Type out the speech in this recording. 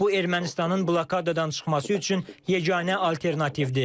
Bu Ermənistanın blokadadan çıxması üçün yeganə alternativdir.